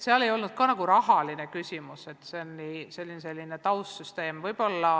Seal ei olnudki põhiline mitte rahaküsimus, vaid asi oli pigem taustsüsteemis.